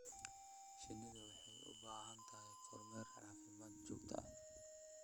Shinnidu waxay u baahan tahay kormeer caafimaad oo joogto ah.